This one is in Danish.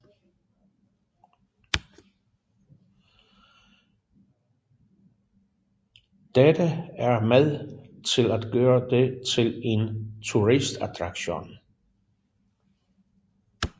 Dette er med til at gøre det til en turistattraktion